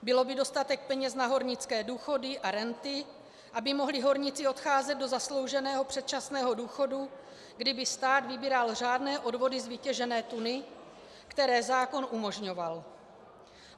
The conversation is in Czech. Bylo by dostatek peněz na hornické důchody a renty, aby mohli horníci odcházet do zaslouženého předčasného důchodu, kdyby stát vybíral řádné odvody z vytěžené tuny, které zákon umožňoval.